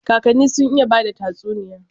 Kakani sun iya bada tatsuniya.